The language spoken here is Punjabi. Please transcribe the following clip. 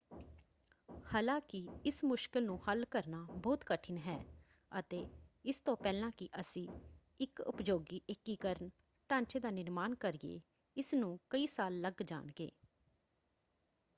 ਹਾਲਾਂਕਿ ਇਸ ਮੁਸ਼ਕਲ ਨੂੰ ਹੱਲ ਕਰਨਾ ਬਹੁਤ ਕਠਿਨ ਹੈ ਅਤੇ ਇਸ ਤੋਂ ਪਹਿਲਾਂ ਕਿ ਅਸੀਂ ਇੱਕ ਉਪਯੋਗੀ ਏਕੀਕਰਨ ਢਾਂਚੇ ਦਾ ਨਿਰਮਾਣ ਕਰੀਏ ਇਸ ਨੂੰ ਕਈ ਸਾਲ ਲੱਗ ਜਾਣਗੇ।